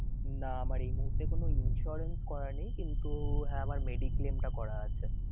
না আমার এই মুহূর্তে কোনো insurance করা নেই কিন্তু হ্যাঁ আমার mediclaim টা করা আছে।